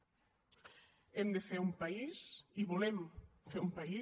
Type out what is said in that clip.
hem de fer un país i volem fer un país